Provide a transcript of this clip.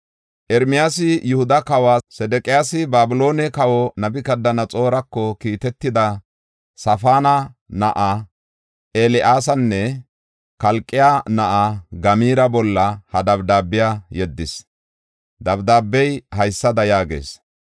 Ermiyaasi Yihuda kawoy Sedeqiyaasi Babiloone kawa Nabukadanaxoorako kiitetida Safaana na7aa El7aasanne Kalqqe na7aa Gamaara bolla he dabdaabiya yeddis. Dabdaabey haysada yaagees: